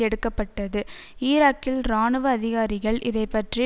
எடுக்க பட்டது ஈராக்கில் இராணுவ அதிகாரிகள் இதை பற்றி